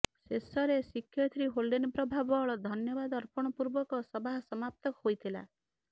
ଶେଷରେ ଶିକ୍ଷୟତ୍ରୀ ହୋଲଡେନ ପ୍ରଭା ବଳ ଧନ୍ୟବାଦ ଅର୍ପଣ ପୂର୍ବକ ସଭା ସମାପ୍ତ ହୋଇଥିଲା